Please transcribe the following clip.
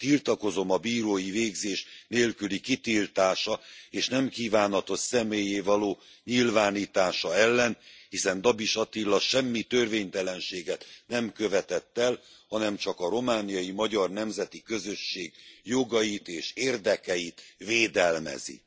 Tiltakozom a bírói végzés nélküli kitiltása és nem kívánatos személlyé való nyilvánítása ellen, hiszen Dabis Attila semmi törvénytelenséget nem követett el, hanem csak a romániai magyar nemzeti közösség jogait és érdekeit védelmezi.